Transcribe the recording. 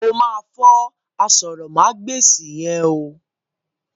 O ma fọ àsòrọmagbesi yẹn o.